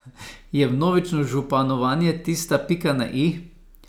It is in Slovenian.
Je vnovično županovanje tista pika na i?